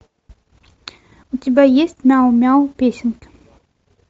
у тебя есть мяу мяу песенки